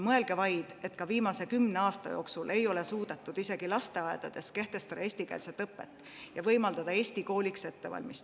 Mõelge vaid, et viimase kümne aasta jooksul ei ole suudetud eestikeelset õpet kehtestada isegi lasteaedades, et võimaldada ettevalmistust eesti kooliks.